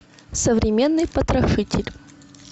современный потрошитель